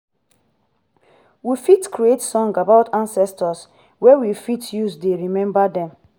we fit create song about ancestor wey we fit use dey remember them